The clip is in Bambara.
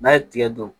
N'a ye tigɛ don